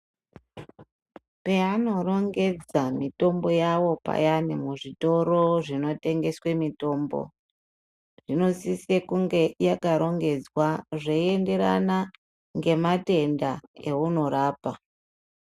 Paanorongedza mitombo yavo payana muzvitoro zvinotengeswe mitombo, inosisa kunge yakarongedzwa zveyienderana ngematenda ewunorapa.